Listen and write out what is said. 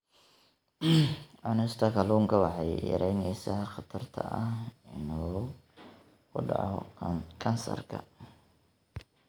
Cunista kalluunka waxay yaraynaysaa khatarta ah inuu ku dhaco kansarka.